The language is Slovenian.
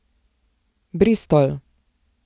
Bristol!